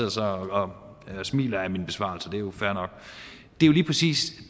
og smiler ad min besvarelse og det er jo fair nok og det er lige præcis